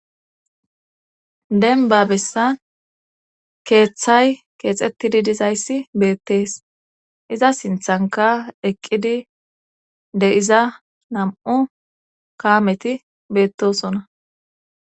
denba bessan keeththay keexettidi dizayssi beettees iza sinthanka eqqidi de iza nam7u kaameti beettosona